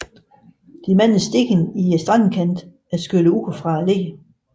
De mange sten i strandkanten er skyllet ud fra leret